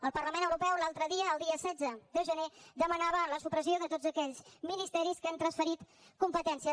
el parlament europeu l’altre dia el dia setze de gener demanava la supressió de tots aquells ministeris que han transferit competències